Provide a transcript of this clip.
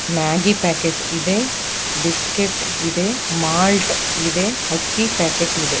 Maggi packet ಇದೆ biscuit ಇದೆ malt ಇದೆ ಅಕ್ಕಿ ಪ್ಯಾಕೆಟ್ ಇದೆ.